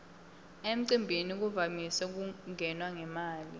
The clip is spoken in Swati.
emcimbini kuvamise kungenwa ngemali